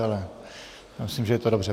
Ale myslím, že je to dobře.